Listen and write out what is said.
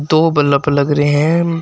दो बल्ब लग रहे हैं।